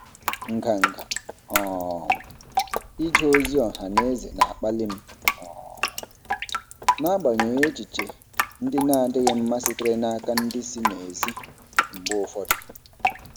Nganga um ije ozi ọha na eze na-akpali m um n'agbanyeghị echiche ndị na-adịghị mma sitere n'aka ndị si n'èzí mgbe ụfọdụ.